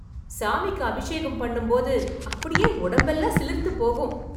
சாமிக்கு அபிஷேகம் பண்ணும் போது அப்படியே உடம்பெல்லாம் சிலிர்த்து போகும்